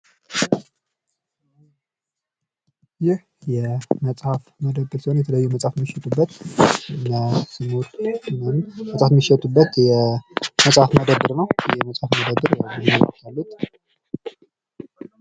ይህ የመጽሐፍ መደብር ሲሆን የተለያዩ መጽሐፍ የሚሸጡበት መጽሐፍ የሚሸጡበት የመጽሐፍ መደብር ነው።